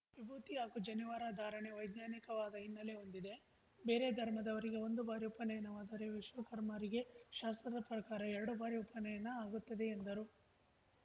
ವಿಭೂತಿ ಹಾಗೂ ಜನಿವಾರ ಧಾರಣೆ ವೈಜ್ಞಾನಿಕವಾದ ಹಿನ್ನೆಲೆ ಹೊಂದಿದೆ ಬೇರೆ ಧರ್ಮದವರಿಗೆ ಒಂದು ಬಾರಿ ಉಪನಯನವಾದರೆ ವಿಶ್ವಕರ್ಮರಿಗೆ ಶಾಸ್ತ್ರದ ಪ್ರಕಾರ ಎರಡು ಬಾರಿ ಉಪನಯನ ಆಗುತ್ತದೆ ಎಂದರು